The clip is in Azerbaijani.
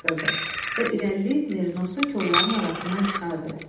və irəliləyib merinosu kolları arasından çıxartdı.